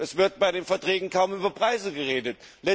Es wird bei den Verträgen kaum über Preise geredet.